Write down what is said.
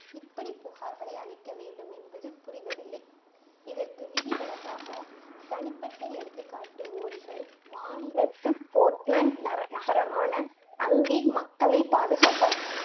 இப்படி புகார்களை அளிக்க வேண்டும் என்பது புரிவதில்லை இதற்கு விதிவிலக்காக தனிப்பட்ட எடுத்துக்காட்டு ஓரிகள் மாநில ஸ்போர்ட்லண்ட் நகர நகரமான அங்கே மக்களை பாதுகாப்பதற்காக